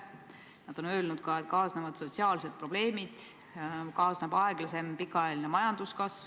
Eesti Pank on öelnud ka seda, et kaasnevad sotsiaalsed probleemid, kaasneb aeglasem pikaajaline majanduskasv.